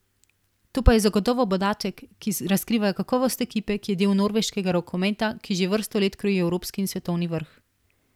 To pa je zagotovo podatek, ki razkriva kakovost ekipe, ki je del norveškega rokometa, ki že vrsto let kroji evropski in svetovni vrh.